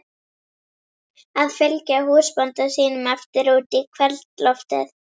Að fylgja húsbónda sínum eftir út í kvöldloftið.